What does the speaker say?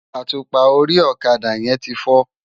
Átúpá óri òkadá yèn ti fò